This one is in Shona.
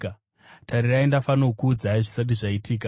Tarirai, ndafanokuudzai zvisati zvaitika.